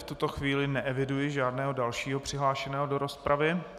V tuto chvíli neeviduji žádného dalšího přihlášeného do rozpravy.